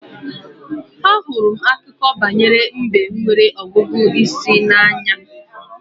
Ahụrụ m Akụkọ banyere mbe nwere ọgụgụ isi n'anya